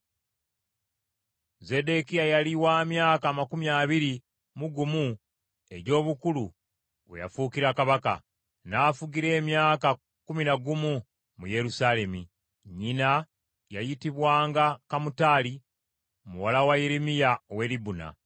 Zeddekiya yali wa myaka amakumi abiri mu gumu egy’obukulu we yafuukira kabaka, n’afugira emyaka kkumi na gumu mu Yerusaalemi. Nnyina yayitibwanga Kamutali muwala wa Yeremiya ow’e Libuna.